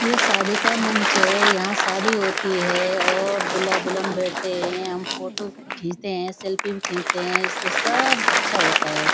ये शादी का मंच है यहाँ शादी होती है और दुल्ला दुल्हन बैठते हैं हम फोटो खींचते हैं सेल्फी भी खींचते हैं इस पे सब अच्छा होता है।